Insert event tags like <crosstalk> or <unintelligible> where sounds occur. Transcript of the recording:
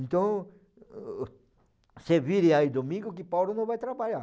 Então <unintelligible> se vire aí domingo que Paulo não vai trabalhar.